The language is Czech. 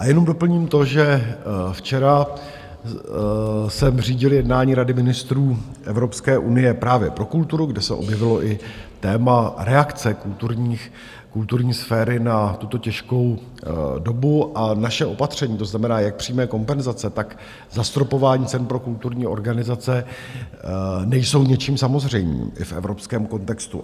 A jenom doplním to, že včera jsem řídil jednání Rady ministrů Evropské unie právě pro kulturu, kde se objevilo i téma reakce kulturní sféry na tuto těžkou dobu, a naše opatření, to znamená jak přímé kompenzace, tak zastropování cen pro kulturní organizace, nejsou ničím samozřejmým i v evropském kontextu.